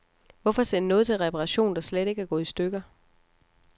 Hvorfor sende noget til reparation, der slet ikke er gået i stykker.